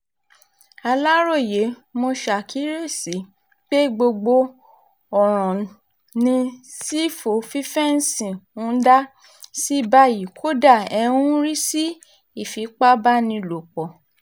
aláròye mo ṣàkíyèsí pé gbogbo ọ̀ràn ni sífù fífẹ́ǹsì ń dá sí báyìí kódà ẹ̀ ń rí sí ìfipábánilòpọ̀